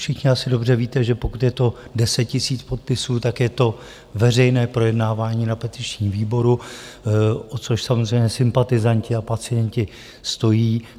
Všichni asi dobře víte, že pokud je to 10 tisíc podpisů, tak je to veřejné projednávání na petičním výboru, o což samozřejmě sympatizanti a pacienti stojí.